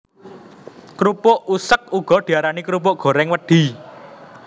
Krupuk useg uga diarani krupuk gorèng wedhi